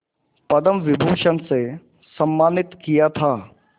पद्म विभूषण से सम्मानित किया था